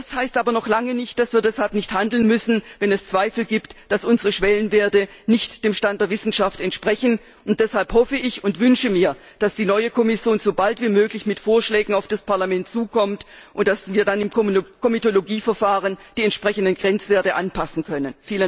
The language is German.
Das heißt aber noch lange nicht, dass wir deshalb nicht handeln müssen, wenn es Zweifel gibt, dass unsere Schwellenwerte nicht dem Stand der Wissenschaft entsprechen, und deshalb hoffe ich und wünsche ich mir, dass die neue Kommission so bald wie möglich mit Vorschlägen auf das Parlament zukommt und dass wir dann im Komitologieverfahren die entsprechenden Grenzwerte anpassen können.